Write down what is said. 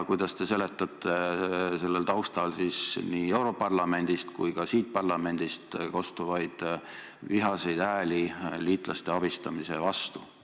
Kuidas te seletate selle taustal nii europarlamendist kui ka siit parlamendist kostvaid vihaseid hääli liitlaste abistamise vastu?